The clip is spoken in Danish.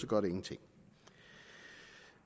gør det ingenting